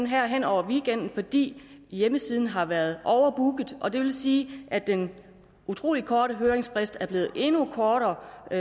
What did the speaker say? her hen over weekenden fordi hjemmesiden har været overbooket og det vil sige at den utrolig korte høringsfrist er blevet endnu kortere og